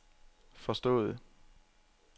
forstået